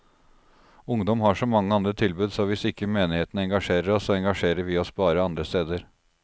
Ungdom har så mange andre tilbud, så hvis ikke menigheten engasjerer oss, så engasjerer vi oss bare andre steder.